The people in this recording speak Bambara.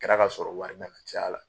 Kɛra ka sɔrɔ wari nana caya la